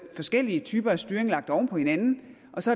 forskellige typer af styring lagt oven på hinanden og så